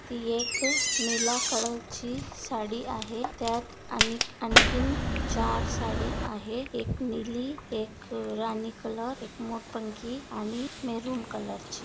ही एक निळ्या कलरची साडी आहे त्यात अन अनेक आणखीन चार साडी आहे एक नीली एक राणी कलर एक मोरपंखी आणि मेरून कलर ची.